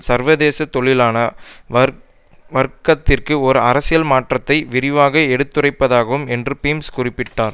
சர்வதேச தொழிலாள வர் வர்க்கத்திற்கு ஒரு அரசியல் மாற்றை விரிவாக எடுத்துரைப்பதாகும் என்று பீம்ஸ் குறிப்பிட்டார்